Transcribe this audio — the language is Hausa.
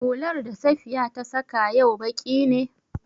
Hular da Safiya ta saƙa yau baƙi ne?